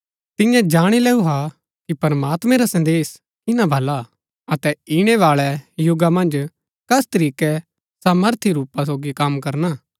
तियें जाणी लैऊ हा कि प्रमात्मैं रा संदेश किना भला हा अतै ईणैबाळै युगा मन्ज कस तरीकै सामर्थी रूपा सोगी कम करना